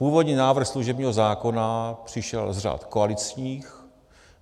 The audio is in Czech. Původní návrh služebního zákona přišel z řad koaličních.